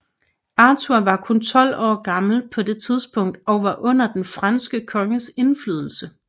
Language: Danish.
Arthur var kun tolv år gammel på det tidspunkt og under den franske konges indflydelse